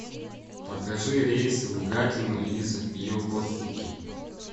покажи рейсы в гатино из йокосуки